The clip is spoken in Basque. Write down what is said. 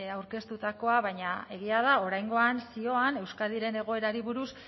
aurkeztutakoa baina egia da oraingoan zioan euskadiren egoerari buruz